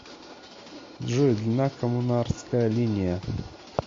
джой длина коммунарская линия